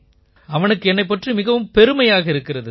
அவனுக்கு என்னைப் பற்றி மிகவும் பெருமையாக இருக்கிறது